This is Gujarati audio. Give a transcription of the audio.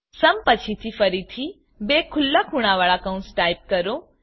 સુમ સમપછીથી ફરીથી બે ખુલ્લા ખૂણાવાળા કૌંસ ટાઈપ કરો